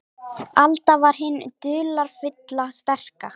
Alda var hin dularfulla, sterka.